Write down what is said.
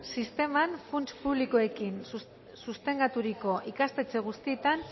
sisteman funts publikoekin sustengaturiko ikastetxe guztietan